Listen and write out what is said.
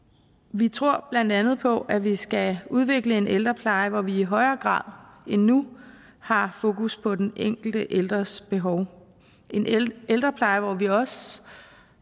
vi tror blandt andet på at vi skal udvikle en ældrepleje hvor vi i højere grad end nu har fokus på den enkelte ældres behov en ældrepleje hvor vi også